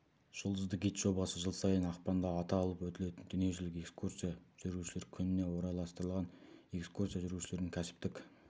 жұлдызды гид жобасы жыл сайын ақпанда аталып өтілетін дүниежүзілік экскурсия жүргізушілер күніне орайластырылған экскурсия жүргізушілердің кәсіптік